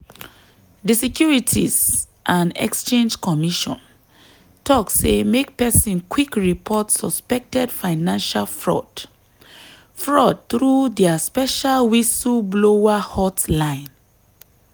di securities and exchange commission talk say make person quick report suspected financial fraud fraud through dia special whistleblower hotline.